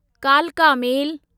कालका मेल